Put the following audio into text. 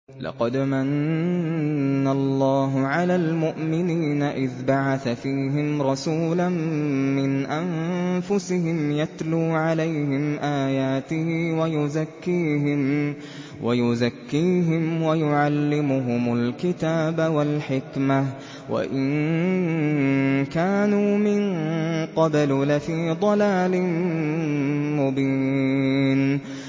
لَقَدْ مَنَّ اللَّهُ عَلَى الْمُؤْمِنِينَ إِذْ بَعَثَ فِيهِمْ رَسُولًا مِّنْ أَنفُسِهِمْ يَتْلُو عَلَيْهِمْ آيَاتِهِ وَيُزَكِّيهِمْ وَيُعَلِّمُهُمُ الْكِتَابَ وَالْحِكْمَةَ وَإِن كَانُوا مِن قَبْلُ لَفِي ضَلَالٍ مُّبِينٍ